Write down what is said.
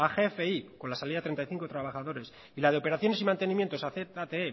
gfi con la salida de treinta y cinco trabajadores y la de operaciones y mantenimientos a zte